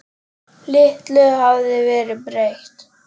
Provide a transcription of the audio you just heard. Litlu hafði verið breytt.